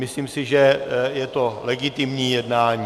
Myslím si, že je to legitimní jednání.